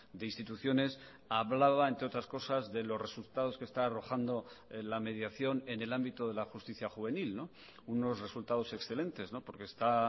de instituciones hablaba entre otras cosas de los resultados que está arrojando la mediación en el ámbito de la justicia juvenil unos resultados excelentes porque está